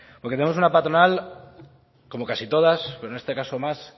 porque tenemos una patronal como casi todas o en este caso más